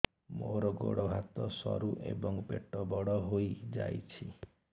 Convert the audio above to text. ମୋର ଗୋଡ ହାତ ସରୁ ଏବଂ ପେଟ ବଡ଼ ହୋଇଯାଇଛି